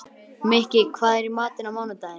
Mikki, hvað er í matinn á mánudaginn?